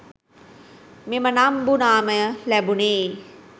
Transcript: මෙම නම්බු නාමය ලැබුණේ